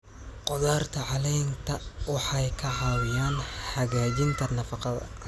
Khudaarta caleenta waxay ka caawiyaan hagaajinta nafaqada.